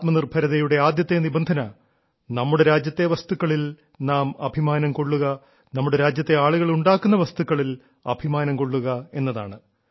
ആത്മനിർഭാരതിന്റെ ആദ്യത്തെ നിബന്ധന നമ്മുടെ രാജ്യത്തെ വസ്തുക്കളിൽ നാം അഭിമാനം കൊള്ളുക നമ്മുടെ രാജ്യത്തെ ആളുകൾ ഉണ്ടാക്കുന്ന വസ്തുക്കളിൽ അഭിമാനം കൊള്ളുക എന്നതാണ്